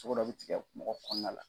Togo dɔ bi tigɛ mɔgɔ kɔnɔna la.